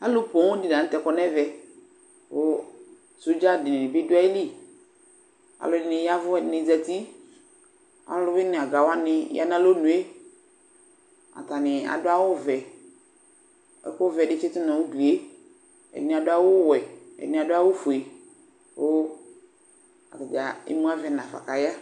Alu pɔn di la ŋtɛ kɔ nu ɛʋɛ Sodzaa dinibi du ayili Alɔdini yaʋu, alɔdini zati, aluwuini aga wanivya na alɔnué Atabi adu awu ʋɛ Ɛku ʋɛ di tchitu nu idué Ɛdini adu awu wɛ, ɛdini adu awu fué ku ata ému aʋɛ naƒa ka aya